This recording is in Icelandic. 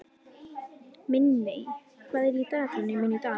Minney, hvað er í dagatalinu mínu í dag?